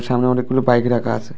সামনে অনেকগুলো বাইক রাখা আছে।